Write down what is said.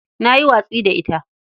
Na yi watsi da ita.